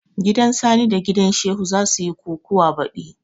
Gidan sani da gidan Shehu za suyi kukuwa baɗi